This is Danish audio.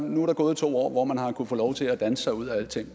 nu er der gået to år hvor man har kunnet få lov til at danse sig ud af alting